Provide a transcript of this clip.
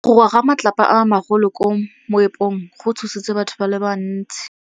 Go wa ga matlapa a magolo ko moepong go tshositse batho ba le bantsi.